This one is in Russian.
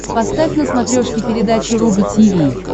поставь на смотрешке передачу рубль ти ви